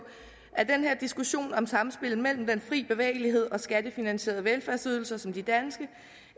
at diskussionen om samspillet mellem den frie bevægelighed og skattefinansierede velfærdsydelser som de danske